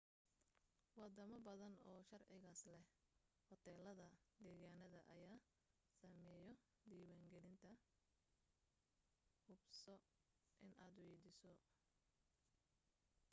wadamo badan oo sharcigaas leh hoteelada deegaaneed ayaa sameeyo diiwan gelinta hubso inaad weydiiso